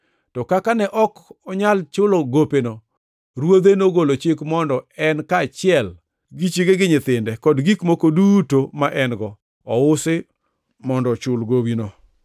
To kaka ne ok onyal chulo gopeno, ruodhe nogolo chik mondo en kaachiel gi chiege gi nyithinde, kod gik moko duto mane en-go ousi mondo ochul gowino.